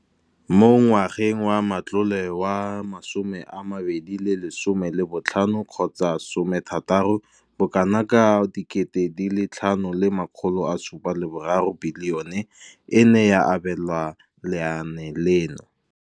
Mo ngwageng wa matlole wa 2015 gotsa 16, bokanaka 5 703 bilione e ne ya abelwa lenaane leno.